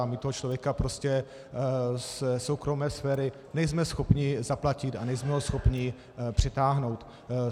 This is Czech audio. A my toho člověka prostě ze soukromé sféry nejsme schopni zaplatit a nejsme ho schopni přitáhnout.